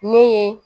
Ne ye